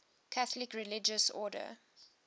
catholic religious order